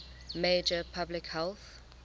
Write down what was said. major public health